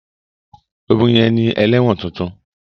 Obìnrin yẹn ni ẹlẹ́wọ̀n tuntun.